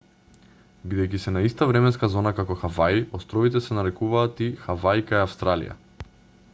бидејќи се на иста временска зона како хаваи островите се нарекуваат и хаваи кај австралија